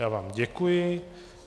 Já vám děkuji.